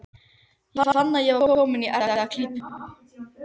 Ég fann að ég var kominn í erfiða klípu.